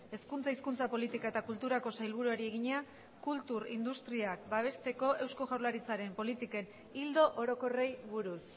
hezkuntza hizkuntza politika eta kulturako sailburuari egina kultur industriak babesteko eusko jaurlaritzaren politiken ildo orokorrei buruz